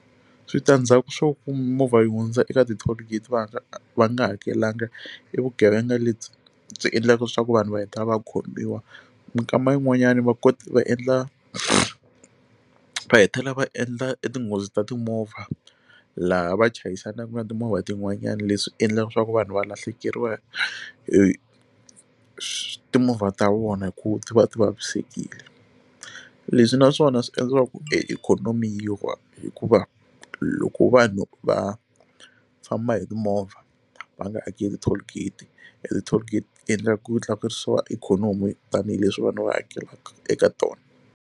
Switandzhaku swo ku movha yi hundza eka ti toll gate va nga va nga hakelanga i vugevenga lebyi byi endlaka leswaku vanhu va heta va khomiwa minkama yin'wanyani va kota va endla va hetelela va endla etinghozi ta timovha laha va chayisana ka timovha tin'wanyana leswi endlaka leswaku vanhu va lahlekeriwa hi swi timovha ta vona hi ku ti va ti vavisekile leswi naswona swi endliwa ku e ikhonomi yi wa hikuva loko vanhu va famba hi timovha va nga hakeli toll gate e ti toll gate ti endla ku tlakusiwa ikhonomi tanihileswi vanhu va hakelaka eka tona.